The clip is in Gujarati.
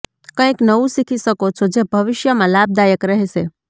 કંઇક નવું શીખી શકો છો જે ભવિષ્યમાં લાભદાયક રહેશે